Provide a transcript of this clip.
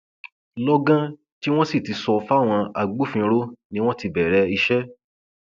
lọgán tí wọn sì ti sọ fáwọn agbófinró ni wọn ti bẹrẹ iṣẹ